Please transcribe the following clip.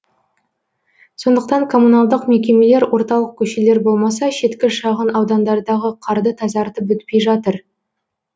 сондықтан коммуналдық мекемелер орталық көшелер болмаса шеткі шағын аудандардағы қарды тазартып бітпей жатыр